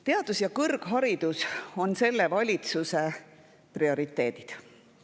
Teadus ja kõrgharidus on selle valitsuse prioriteedid.